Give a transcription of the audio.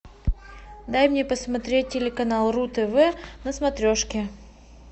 дай мне посмотреть телеканал ру тв на смотрешке